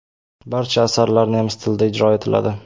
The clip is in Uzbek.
Barcha asarlar nemis tilida ijro etiladi.